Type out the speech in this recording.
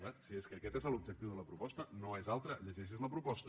bé si és que aquest és l’objectiu de la proposta no és altre llegeixi’s la proposta